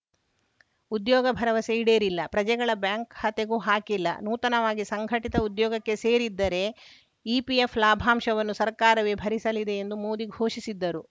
ಉದ್ಯೋಗ ಭರವಸೆ ಈಡೇರಿಲ್ಲ ಪ್ರಜೆಗಳ ಬ್ಯಾಂಕ್‌ ಖಾತೆಗೂ ಹಾಕಿಲ್ಲ ನೂತನವಾಗಿ ಸಂಘಟಿತ ಉದ್ಯೋಗಕ್ಕೆ ಸೇರಿದ್ದರೆ ಇಪಿಎಫ್‌ ಲಾಭಾಂಶವನ್ನು ಸರ್ಕಾರವೇ ಭರಿಸಲಿದೆ ಎಂದು ಮೋದಿ ಘೋಷಿಸಿದ್ದರು